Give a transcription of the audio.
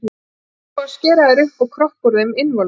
Hvað þá að skera þær upp og kroppa úr þeim innvolsið.